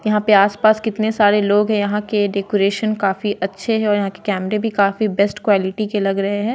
यहां पे आस-पास कितने सारे लोग है यहां के डेकोरेशन काफी अच्छे है और यहां के कैमरे भी काफी बेस्ट क्वालिटी के लग रहे हैं।